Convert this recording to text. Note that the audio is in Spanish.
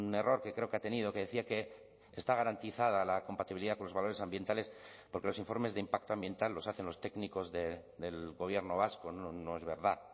error que creo que ha tenido que decía que está garantizada la compatibilidad con los valores ambientales porque los informes de impacto ambiental los hacen los técnicos del gobierno vasco no es verdad